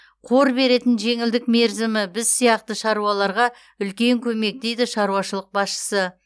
қор беретін жеңілдік мерзімі біз сияқты шаруаларға үлкен көмек дейді шаруашылық басшысы